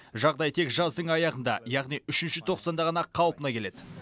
жағдай тек жаздың аяғында яғни үшінші тоқсанда ғана қалпына келеді